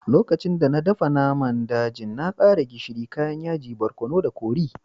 Lokacin da n'na dafan naman dajin, na kara gishiri, kayan yaji, barkonu da kori.